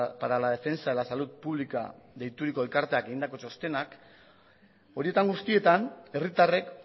para la defensa de la salud pública deituriko elkarteak egindako txostenak horietan guztietan herritarrek